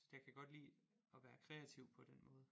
Så det kan jeg godt lide at være kreativ på den måde